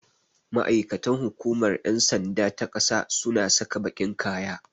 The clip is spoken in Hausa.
Ma'aikatan hukumar ƴan sanda ta ƙasa suna saka baƙin kaya.